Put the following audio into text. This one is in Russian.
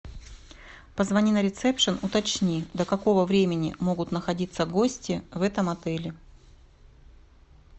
позвони на ресепшн уточни до какого времени могут находиться гости в этом отеле